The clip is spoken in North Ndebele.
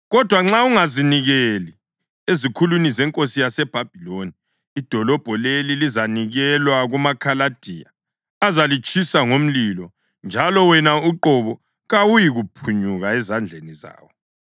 Kodwa nxa ungazinikeli ezikhulwini zenkosi yaseBhabhiloni, idolobho leli lizanikelwa kumaKhaladiya azalitshisa ngomlilo; njalo wena uqobo kawuyikuphunyuka ezandleni zawo.’ ”